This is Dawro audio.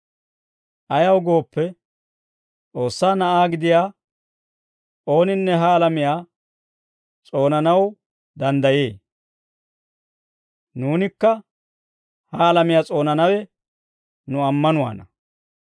Ayaw gooppe, S'oossaa Na'aa gidiyaa ooninne ha alamiyaa s'oonanaw danddayee; nuunikka ha alamiyaa s'oonanawe nu ammanuwaana.